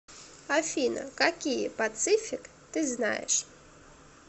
афина какие пацифик ты знаешь